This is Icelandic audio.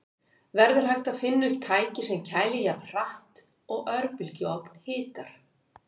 Verður hægt að finna upp tæki sem kælir jafn hratt og örbylgjuofn hitar?